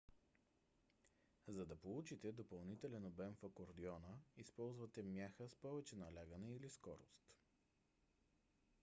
за да получите допълнителен обем в акордеона използвате мяха с повече налягане или скорост